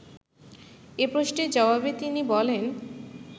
এ প্রশ্নের জবাবে তিনি বলেন